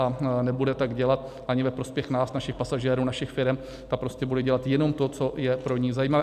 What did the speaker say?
A nebude tak dělat ani ve prospěch nás, našich pasažérů, našich firem, ta prostě bude dělat jenom to, co je pro ni zajímavé.